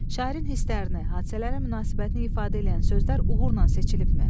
Şairin hisslərini, hadisələrə münasibətini ifadə eləyən sözlər uğurla seçilibmi?